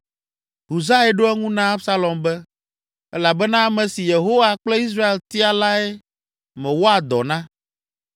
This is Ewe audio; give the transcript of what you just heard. Husai ɖo eŋu na Absalom be, “Elabena ame si Yehowa kple Israel tia lae mewɔa dɔ na.